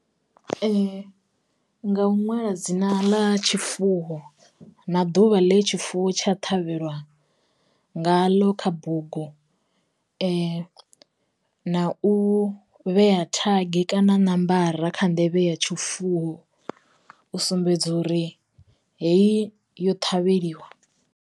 Ee nga u ṅwala dzina ḽa tshifuwo na ḓuvha ḽe tshifuwo tsha ṱhavhelwa nga ḽo kha bugu, na u vhea thagi kana ṋomboro kha nḓevhe ya tshifuwo u sumbedza uri heyi yo ṱhavheliwa.